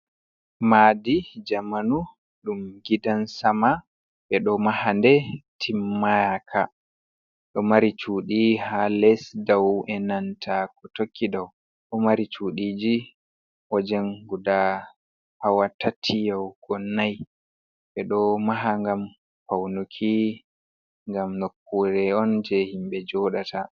Maadi jamanu ɗum gidan sama, ɓeɗo maha nde timmanaka do mari cudi ha les dau e nanta ko tokki dau, ɗo mari cudiji wajen guda hawa tati yahugo nnai ɓeɗo maha ngam faunuki, ngam nokkure’on je himɓe joɗata.